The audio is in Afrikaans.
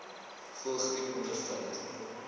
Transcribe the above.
voëlgriep ondervind